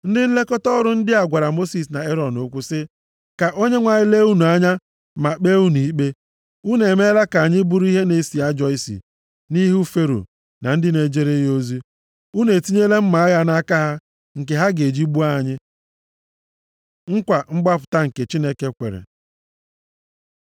Ndị nlekọta ọrụ ndị a gwara Mosis na Erọn okwu sị, “Ka Onyenwe anyị lee unu anya ma kpee unu ikpe. Unu emeela ka anyị bụrụ ihe na-esi ajọ isi nʼihu Fero na ndị na-ejere ya ozi. Unu etinyela mma agha nʼaka ha nke ha ga-eji gbuo anyị.” Nkwa mgbapụta nke Chineke kwere